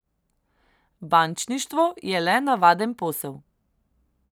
Bančništvo je le navaden posel.